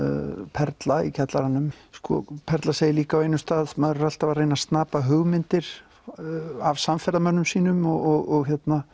Perla í kjallaranum Perla segir líka á einum stað maður er alltaf að reyna að snapa hugmyndir af samferðamönnum sínum og